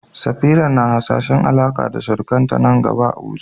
Safira na hasashen Alaƙa da surukanta nan gaba a Abuja.